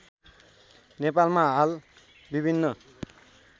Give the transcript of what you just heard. नेपालमा हाल विभिन्न